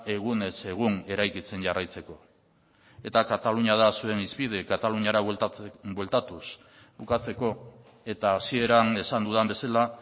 egunez egun eraikitzen jarraitzeko eta katalunia da zuen hizpide kataluniara bueltatuz bukatzeko eta hasieran esan dudan bezala